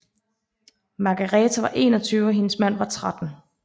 Margareta var 21 og hendes mand var 13